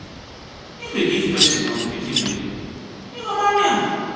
if you give pesin um pikin belle you go marry am.